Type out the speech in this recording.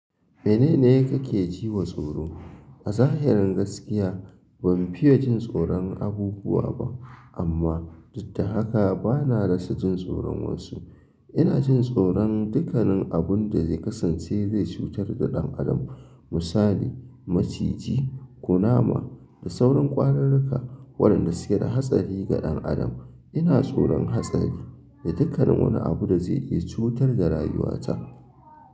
Menene kake ji wa tsoro? A zahirin gaskiya ban fiye jin tsoron abubuwa ba amma didda haka bana rasa jin tsoron wasu. Ina jin tsoron dukkanin abun da zai kasance zai cutar da ɗan adam. Misali maciji, kunama da sauran ƙwararrika waɗanda suke da hatsari ga ɗan adam. Ina tsoron hatsari da dukkan wani abu da zai iya cutar da rayuwata.